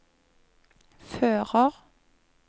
fører